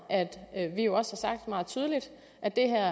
at vi jo også har sagt meget tydeligt at det her